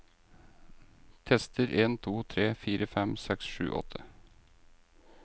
Tester en to tre fire fem seks sju åtte